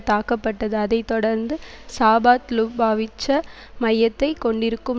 தாக்கப்பட்டது அதை தொடர்ந்து சாபாத்லுபாவிட்ச மையத்தை கொண்டிருக்கும்